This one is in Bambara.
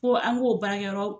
Fo an g'o baarakyɔrɔ